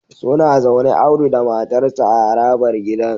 Suna zaune Audu da matarsa ​​a harabar gidan